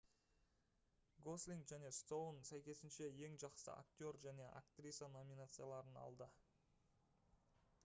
гослинг және стоун сәйкесінше ең жақсы актер және актриса номинацияларын алды